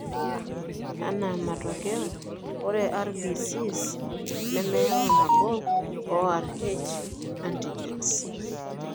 Anaa matokeo, ore RBCs nemeyau nabo oo Rh antigens.